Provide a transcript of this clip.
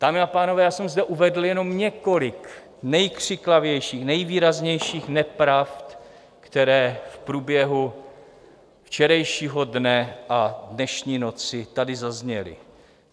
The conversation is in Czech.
Dámy a pánové, já jsem zde uvedl jenom několik nejkřiklavějších, nejvýraznějších nepravd, které v průběhu včerejšího dne a dnešní noci tady zazněly.